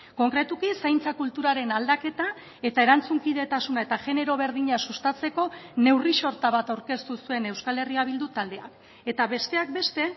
konkretuki zaintza kulturaren aldaketa eta erantzunkidetasuna eta genero berdina sustatzeko neurri sorta bat aurkeztu zuen euskal herria bildu taldeak eta besteak beste